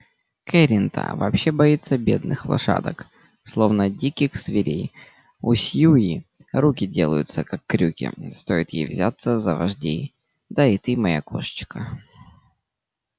кэррин-та вообще боится бедных лошадок словно диких зверей у сью руки делаются как крюки стоит ей взяться за вождей да и ты моя кошечка